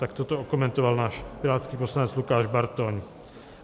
Takto to okomentoval náš pirátský poslanec Lukáš Bartoň.